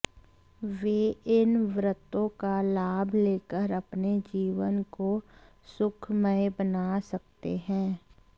वे इन व्रतों का लाभ लेकर अपने जीवन को सुखमय बना सकते हैं